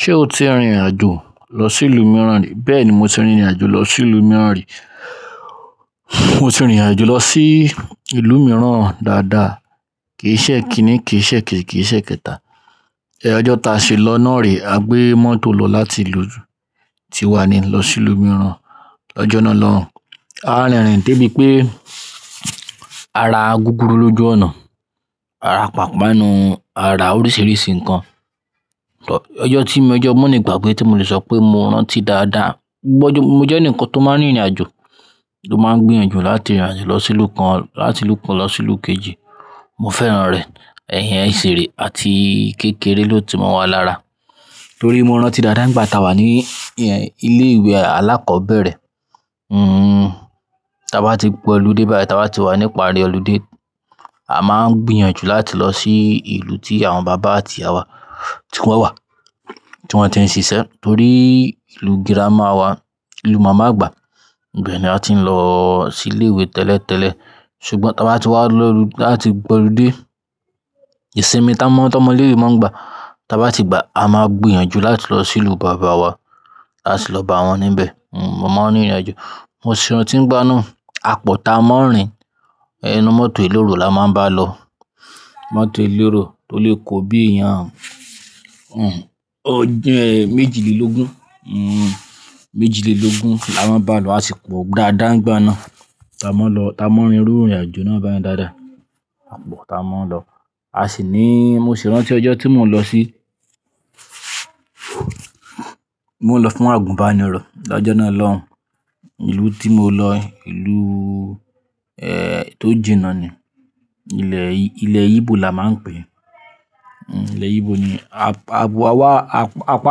Ṣé o ti rìnrìn àjò lọ sí ìlú mìíràn rí? Bẹ́ẹ̀ni, mo ti rìnrìn àjò lọ sí ìlú mìíràn rí. Mo ti rìnrìn àjò lọ sí ìlú mìíràn dáadáa, kì í ṣẹ́ ekíní, kì í ṣẹ́ ekéji, kì í ṣẹ́ ekẹta. Ọjọ́ ta ṣe lọ́nà rí, a gbé mọ́tò lọ láti ìlú tí wa ní lọ sí ìlú mìíràn lọ́jọ́ náà lọun. A rìnrìn débí pé, ara gúgúrú lójú ọ̀nà, ara ipàpànu, ara oríṣìíríṣìí ǹkan. Ọjọ́ tí mo jẹ́ ọmọ nì gbàgbé tí mo lè sọ pé mo rántí dáadáa. Mo jẹ́ eǹikan tó máa ń rìnrìn àjò, tó máa ń gbìyànjú láti rìnrìn àjò lọ sí ìlú kan, láti ìlú kan lọ sí ìlú kejì. Mo fẹ́ràn rẹ̀. Ẹ̀hẹn ìṣeré àti kékeré ló ti mọ́ wa lára. Torí mo rántí dáadáa nígbà táa wà ní ìyẹn ilé ìwé alákọ̀ọ́bẹ̀rẹ̀, hmm, táa bá ti gbó'lùde báyìí, táa bá ti wà níparí olùde, a máa ń gbìyànjú láti lọ sí ìlú tí àwọn bàbá àti iya wa ti wọ́n wà, tí wọ́n ti ń ṣiṣẹ́. Torí ìlú girama wa, ìlú màmá àgbà, ibẹ́ẹ̀ ni a ti ń lọ sí ilé ìwé tẹ́lẹ̀tẹ́lẹ̀. Ṣùgbọ́n táa bá ti wá lọ láti gbó olùde, ìsinmi táa mọ́ tómọ léwè mọ́ gbà, táa bá ti gbà, a máa gbìyànjú láti lọ sí ìlú bàbá wa, láti lọ bá wọn níbẹ̀. Hmm, mo mo ń rìnrìn àjò. Mo sì rántí ngbá na, à pọ̀ táa mọ́ ń rìn, ẹnu mọ́tò ilóró la máa ń bá lọ. Mọ́tò eleró tó lè kó bí i èèyàn. Hmm, ọjẹ́ méjìlélógún, hmm, méjìlélógún la máa ń bá lọ, a sì gbó dáadáa nígbà náà. Táa mọ́ ń lọ, táa mọ́ ń rìn, rìnrìn àjò náà báyen dáadáa. Àpọ̀ táa mọ́ ń lọ. A sì ní, mo sì rántí ọjọ́ tí mò ń lọ sí-- mò ń lọ fún àgùnbánirọ̀, lọ́jọ́ náà lọ́hun. Ìlú tí mo lọ, ìlú, eeh, tó jìnnà ni. Ilẹ̀, ilẹ̀ Igbo la máa ń pè é. Hmm, ilẹ̀ Igbo ni. Àwọ̀ wa wá, apá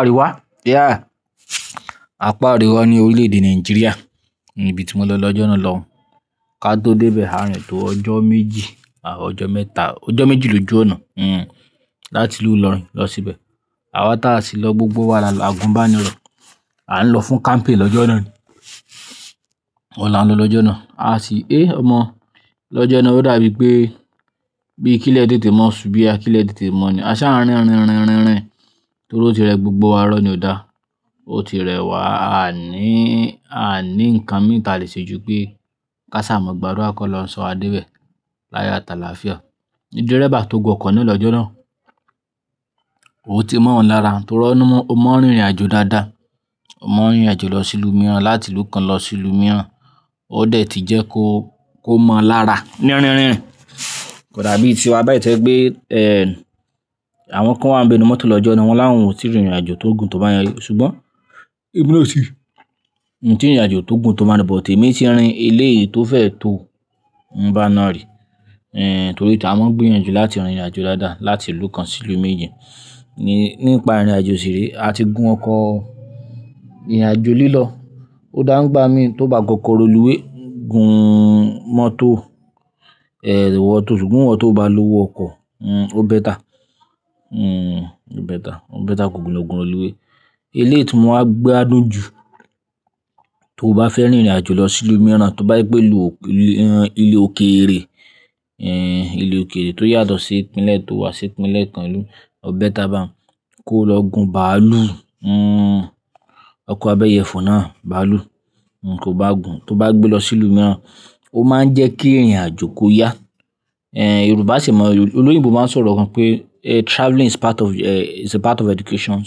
àríwá, yeah, apá àríwá ní orílẹ̀-èdè Nàìjíríà ni ibi tí mo lọ lọ́jọ́ náà lọ́hun. Ká tó dé ibẹ̀, a rìnrìn tó ọjọ́ méjì àti ọjọ́ mẹ́ta. Ọjọ́ méjì ló ju ọ̀nà, hmm, láti ìlú ilorin lọ sí ibẹ̀. Àwa táa sì lọ gbogbo wa lọ àgùnbánirọ̀. A n lọ fún camping lọ́jọ́ náà ni. Ọ́un la ń lọ lọ́jọ́ náà. A sì, "Éé omọ̀, lọ́jọ́ náà ó dàbí pé bí kílé tete mọ́ ṣu boyá, kílé tete mọ́ ni." A sa á ń rín, ń rín, ń rín, ń rín, torí ó ti rẹ gbogbo wa irọ̀ ní ò dá. Ó ti rẹ wa, a ní, a ní ǹkan miran ti a lè ṣe ju pé ká sàmọ̀ gbàdua kọ́lọun sọ wa débẹ̀ láyo at'àlàfìá. Ní dérébá tó gùn ọkọ̀ naa lọ́jọ́ náà, ò ti mọ́ ọn lára, torí ọmọ, ọ mọ ń rìnrìn àjò dáadáa. Ọ mọ ń rìnrìn àjò lọ sí ìlú mìíràn, láti ìlú kan lọ sí ìlú mìíràn, ó dẹ̀ ti jẹ́ kó, kó mọ̀ ọ́n lára. Ní rín, rín, kò dàbí ti wa báyìí tí o jẹ pé, eeh, àwọn kan wáa ńbé ninú mọ́tò lọ́jọ́, wọn láwon ò tí rìnrìn àjò tó gùn tó bá yen ri. Ṣùgbọ́n, emi na o ti bo lọ sí ibi? Nǹ tí rìnrìn àjò tó gùn tó bayen rii but, emí tí rìn elèyi tó fẹ́e tó ń bá a nà rí. Eeh, torí táa máa ń gbìyànjú láti rìnrìn àjò dáadáa, láti ìlú kan sí ìlú méjì ni nípa rìnrìn àjò sì rí. A ti gun ọkọ̀ rìnrìn àjò lílọ, ó dàgbà mí tó bá gọkọ́ro lúwé, gun mọ́tò, eeh, wọ́tò. Ṣùgbọ́n wọ́tò bá lówo ọkọ̀, hmm, ó bẹ́tà. Hmm, ó bẹ́tà, ó bẹ́tà koku l'ogùn railuwab olúwé. Eléèyọ̀ tí mo máa gbádùn jù tó bá fẹ́ rìnrìn àjò lọ sí ìlú mìíràn, tó bá gbé lùú, ìlú, ìhàn, ìlú òkèrè, eeh, ìlú òkèrè tó yàtọ̀ sí ìpínlẹ̀ tó wà, sí ìpínlẹ̀ kan ìlú, ó bẹ́tà bá a. Kó lọ gun bàálù, hmm, ọkọ̀ abẹyẹfò náà, bàálù, nǹ kó bá gùn. Tó bá gbé lọ sí ìlú mìíràn, ó máa ń jẹ́ kí ìrìn àjò kó yá. Eeh, Yorùbá sì mọ̀, olóyìnbo máa ń sọ̀rọ̀ kan pé, "Eh, travelling is part of, eh, is a part of education."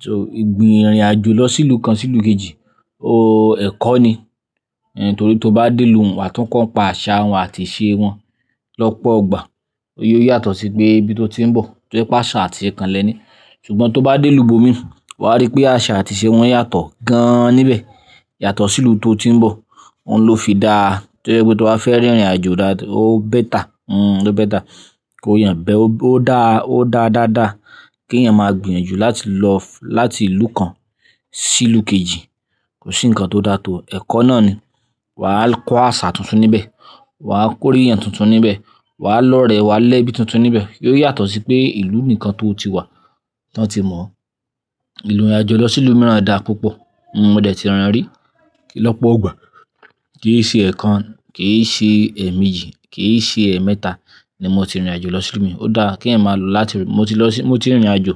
So, ìgbìn irìn àjò lọ sí ìlú kan sí ìlú kejì, o ẹ̀kọ́ ni. Eeh, torí tó bá dé ìlú wá, tún kàn pa àṣà wọn àti ìṣe wọn lọ́pọ̀ ọgbà. Ó yó yàtọ̀ sí pé ibi tó ti ń bọ̀, tó jẹ́ pé àṣà àti ìṣe kanlẹ̀ ni. Ṣùgbọ́n tó bá dé ìlú bómí, wà á rí pé àṣà àti ìṣe wọn yàtọ̀ gan níbẹ̀. Yàtọ̀ sí ìlú tó ti ń bọ̀. Óun ló fi dáa. Tojẹ pé tó bá fẹ́ rìnrìn àjò dáadáa, ó bẹ́tà. Hmm, ó bẹ́tà. Kó yàn bẹ́ẹ̀, ó dá, ó dá dáadáa. Kí èèyàn máa gbìyànjú láti lọ láti ìlú kan sí ìlú kejì, kò sí ǹkan tó dáa tó ẹ̀kọ́ náà ni. Wà á kọ́ àṣà tuntun níbẹ̀, wà á kórè ẹ̀yàn tuntun níbẹ̀, wà á lọ̀rẹ́, wà á lẹ́ ibi tuntun níbẹ̀. Yóò yàtọ̀ sí pé ìlú nìkan tó ti wà tí wọ́n ti mọ̀ ọ́. Ìrìn àjò lọ sí ìlú mìíràn dáa púpọ̀. Hmm, mo dẹ̀ ti ràn án rí. Lọ́pọ̀ ọgbà, kí ì ṣe ẹ̀ kan, kì í ṣe ẹ̀ méjì, kì í ṣe ẹ̀ mẹ́ta ni mo ti rìnrìn àjò lọ sí ìlú mìíràn. Ó dáa kí ẹ̀yin máa lọ láti rí. Mo ti lọ sí, mo ti rìnrìn àjò.